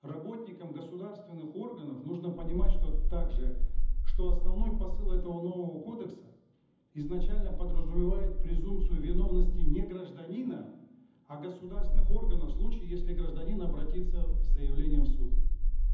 работникам государственных органов нужно понимать что также что основной посыл этого нового кодекса изначально подразумевает презумпцию виновности не гражданина а государственных органов в случае если гражданин обратится с заявлением в суд